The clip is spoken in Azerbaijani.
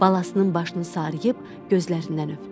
Balasının başını sarıyıb gözlərindən öpdü.